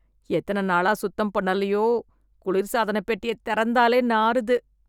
எத்தன நாளா சுத்தம் பண்ணலையோ.. குளிர்சாதனப் பெட்டியத் தெறந்தாலே நாறுது